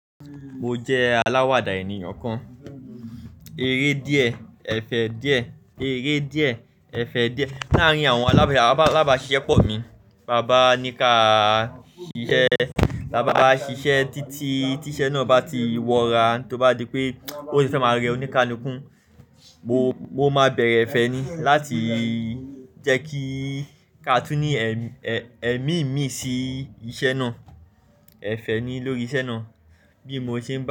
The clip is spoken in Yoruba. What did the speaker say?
Mo jẹ alawada eniyan kan, ere diẹ, ẹfẹ diẹ, ere diẹ, ẹfẹ diẹ. Laarin awọn alaba, alaba ṣiṣẹ pọ mi. Baba nika ṣiṣẹ, baba ṣiṣẹ titi ti iṣẹ naa ba ti wọra, toba dipe o ni fẹ ma rẹ oníkánúkùn mo, mo ma bẹrẹ ẹfẹ ni lati jẹ ki ka tun ni ẹmi mi si iṣẹ naa, ẹfẹ ni lori iṣẹ naa. Bi mo ṣe ń.